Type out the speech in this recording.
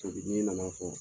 na na fɔ.